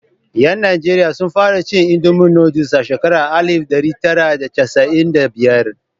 Yan Nijeriya sun fara cin Indomi nooduls a shekarar alif ɗari tara da casa'in da biyar.